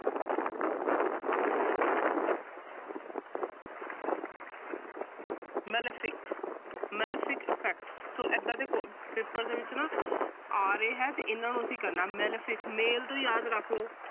Malefic malefic effect ਸੋ ਏਦਾਂ ਦੇ ਕੁ~ ਪੇਪਰ ਦੇ ਵਿੱਚ ਨਾ ਆ ਰਹੇ ਹੈ ਤੇ ਇਹਨਾਂ ਨੂੰ ਅਸੀਂ ਕਰਨਾ malefic ਮੈਲ ਤੋਂ ਯਾਦ ਰੱਖ ਲਓ,